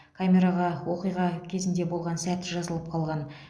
камераға оқиға болған сәт жазылып қалған